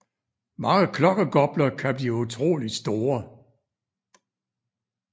Mange klokkegopler kan blive utroligt store